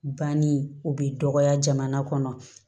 Banni o bɛ dɔgɔya jamana kɔnɔ